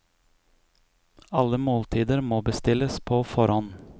Alle måltider må bestilles på forhånd.